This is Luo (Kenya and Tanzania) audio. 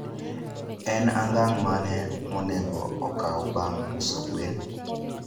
En angang' mane monego okaw bang' uso gwen?